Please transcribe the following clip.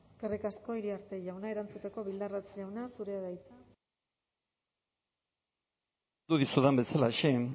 eskerrik asko iriarte jauna erantzuteko bildarratz jauna zurea da hitza mikrofonoa itzalita hitz egin du dizudan bezalaxe